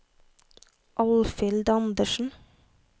Alfhild Anderssen